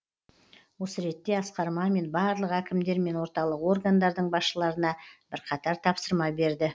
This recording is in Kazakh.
осы ретте асқар мамин барлық әкімдер мен орталық органдардың басшыларына бірқатар тапсырма берді